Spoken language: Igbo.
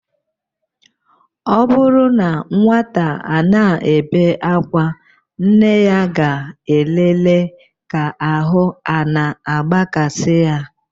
Ọ bụrụ na nwata ana-ebe akwa, nne ya ga-elele ka ahụ a na-agbakasị ya.